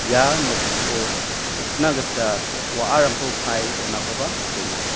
ia nokko rikna gita wa·arangko kae donakoba nikenga.